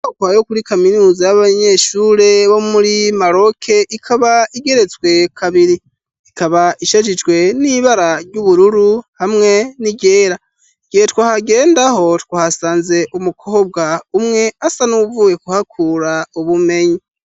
Inyubakwa yo kuri kaminuza y'abanyeshure bo muri maroke ikaba igeretswe kabiri ikaba ishejijwe n'ibara ry'ubururu hamwe n'igera igihe twahagenda ho twahasanze umukobwa umwe asanuvuye kuhakura ubumenyi.